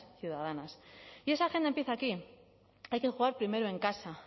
ciudadanas y esa agenda empieza aquí hay que jugar primero en casa